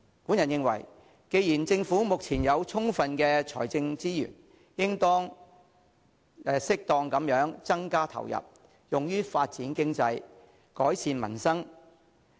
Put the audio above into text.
我認為既然政府目前有充分的財政資源，應當適當地增加投入，用於發展經濟，改善民生。